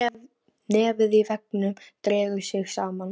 Nefið í veggnum dregur sig saman.